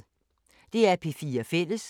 DR P4 Fælles